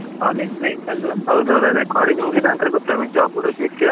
College life ಅಲ್ವ .